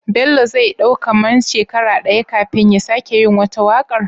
Bello zai dau kaman shekara daya kafin ya sake yi wata waƙar?